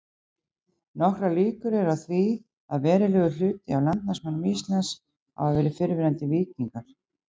Nokkrar líkur eru á því að verulegur hluti af landnámsmönnum Íslands hafi verið fyrrverandi víkingar.